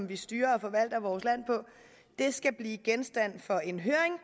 vi styrer og forvalter vores land på skal blive genstand for en høring